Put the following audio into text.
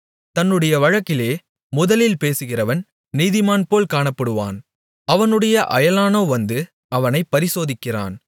தன்னுடைய வழக்கிலே முதலில் பேசுகிறவன் நீதிமான்போல் காணப்படுவான் அவனுடைய அயலானோ வந்து அவனை பரிசோதிக்கிறான்